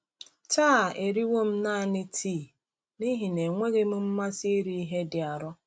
Taa eriwo m naanị tii n’ihi na enweghị m mmasị iri ihe dị arọ.